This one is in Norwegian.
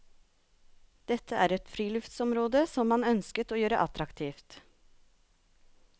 Dette er et friluftsområde som man ønsket å gjøre attraktivt.